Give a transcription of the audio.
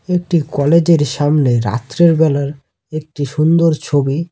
একটি কলেজ এর সামনে রাত্রের বেলার একটি সুন্দর ছবি।